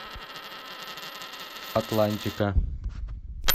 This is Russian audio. атлантика